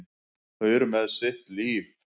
Þau eru með sitt líf.